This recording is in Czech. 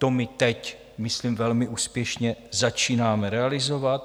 To my teď, myslím, velmi úspěšně začínáme realizovat.